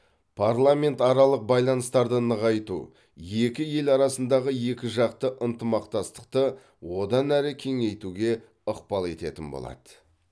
парламентаралық байланыстарды нығайту екі ел арасындағы екіжақты ынтымақтастықты одан әрі кеңейтуге ықпал ететін болады